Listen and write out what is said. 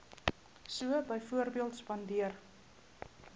so byvoorbeeld spandeer